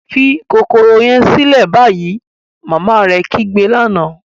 Fi kokoro yẹn silẹ ni bayi! Mama mi kigbe lana.